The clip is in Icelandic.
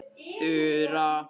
Þura